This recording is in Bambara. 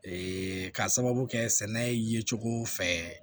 ka sababu kɛ sɛnɛ ye cogo fɛ